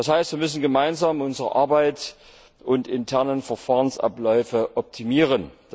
Das heißt, wir müssen gemeinsam unsere Arbeit und unsere internen Verfahrensabläufe optimieren.